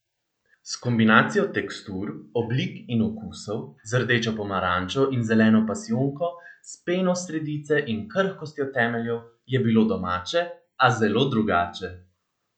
S kombinacijo tekstur, oblik in okusov, z rdečo pomarančo in zeleno pasijonko, s peno sredice in krhkostjo temeljev, je bilo domače, a zelo drugače!